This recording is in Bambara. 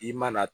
I mana